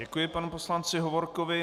Děkuji panu poslanci Hovorkovi.